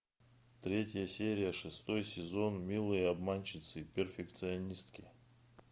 третья серия шестой сезон милые обманщицы перфекционистки